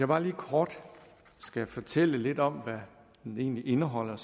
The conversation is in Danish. bare lige kort fortælle lidt om hvad den egentlig indeholder